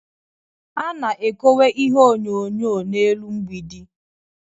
A na-ekowe ihe onyonyo n'elu mgbidi